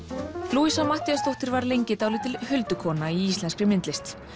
louisa Matthíasdóttir var lengi dálítil huldukona í íslenskri myndlist